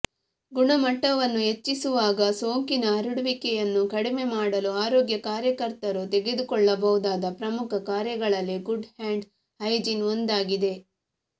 ಗುಣಮಟ್ಟವನ್ನು ಹೆಚ್ಚಿಸುವಾಗ ಸೋಂಕಿನ ಹರಡುವಿಕೆಯನ್ನು ಕಡಿಮೆ ಮಾಡಲು ಆರೋಗ್ಯ ಕಾರ್ಯಕರ್ತರು ತೆಗೆದುಕೊಳ್ಳಬಹುದಾದ ಪ್ರಮುಖ ಕಾರ್ಯಗಳಲ್ಲಿ ಗುಡ್ ಹ್ಯಾಂಡ್ ಹೈಜೀನ್ ಒಂದಾಗಿದೆ